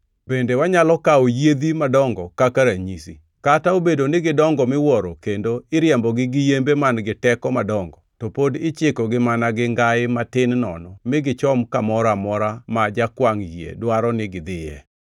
Bende wanyalo kawo yiedhi madongo kaka ranyisi. Kata obedo ni gidongo miwuoro kendo iriembogi gi yembe man-gi teko madongo, to pod ichikogi mana gi ngai matin nono mi gichom kamoro amora ma jakwangʼ yie dwaro ni gidhiye.